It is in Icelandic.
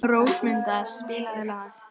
Rósmunda, spilaðu lag.